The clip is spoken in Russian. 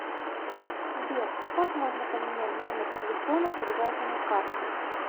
сбер как можно поменять номер телефона привязанный к карте